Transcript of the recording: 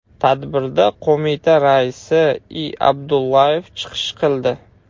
Tadbirda qo‘mita raisi I. Abdullayev chiqish qildi.